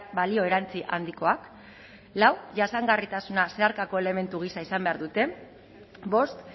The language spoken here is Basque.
balio erantsi handikoak lau jasangarritasuna zeharkako elementu gisa izan behar dute bost